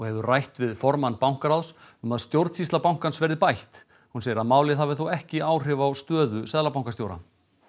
hefur rætt við formann bankaráðs um að stjórnsýsla bankans verði bætt hún segir að málið hafi þó ekki áhrif á stöðu seðlabankastjóra